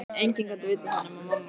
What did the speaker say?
Enginn gat vitað það nema mamma.